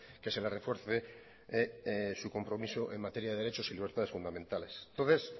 que se le refuerce su compromiso en materia de derechos y libertades fundamentales entonces